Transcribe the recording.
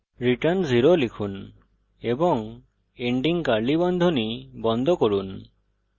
return 0 লিখুন এবং ending curly বন্ধনী বন্ধ করুন